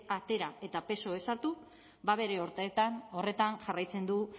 atera eta psoek sartu ba bere horretan jarraitzen du